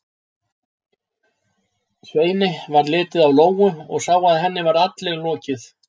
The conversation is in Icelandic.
Sveini varð litið á Lóu og sá að henni var allri lokið.